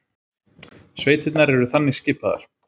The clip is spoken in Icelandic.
Sveitirnar eru þannig skipaðar